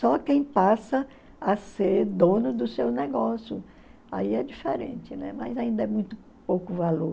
Só quem passa a ser dono do seu negócio, aí é diferente, né, mas ainda é muito pouco valor.